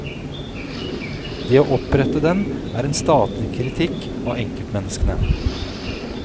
Det å opprette den, er en statlig kritikk av enkeltmenneskene.